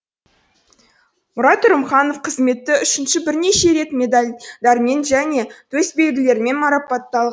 мұрат үрімханов қызметі үшін бірнеше рет медальдармен және төсбелгілермен